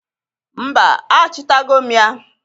Mba, achịtago m ya.